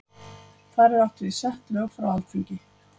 Þar er átt við sett lög frá Alþingi.